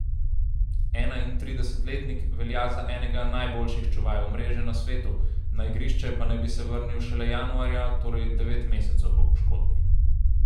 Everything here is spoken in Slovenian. Enaintridesetletnik velja za enega najboljših čuvajev mreže na svetu, na igrišče pa naj bi se vrnil šele januarja, torej devet mesecev po poškodbi.